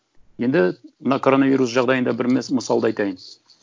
енді мына коронавирус жағдайында бір мысалды айтайын